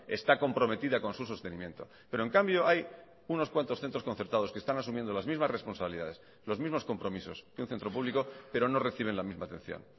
está comprometida con su sostenimiento pero en cambio hay unos cuantos centros concertados que están asumiendo las mismas responsabilidades los mismos compromisos que un centro público pero no reciben la misma atención